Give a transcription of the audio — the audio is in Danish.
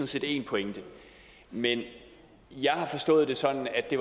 set en pointe men jeg har forstået det sådan at det